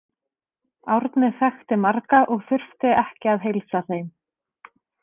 Árni þekkti marga og þurfti að heilsa þeim.